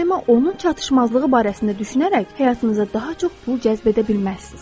Daima onun çatışmazlığı barəsində düşünərək həyatınıza daha çox pul cəzb edə bilməzsiniz.